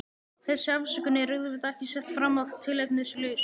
Þessi afsökun er auðvitað ekki sett fram að tilefnislausu.